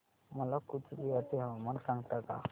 मला कूचबिहार चे हवामान सांगता का